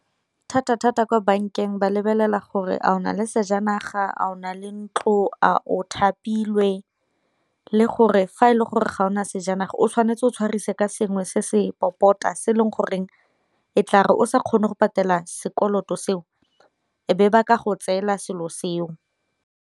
Thata-thata kwa bankeng ba lebelela gore a o na le sejanaga, a o na le ntlo, a o thapilwe le gore fa e le gore ga o na sejanaga o tshwanetse o tshwarisa ka sengwe se se popota se e leng goreng e tla re o sa kgone go patela sekoloto seo e be ba ka go tseela selo seo.